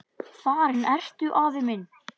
Farinn ertu, afi minn.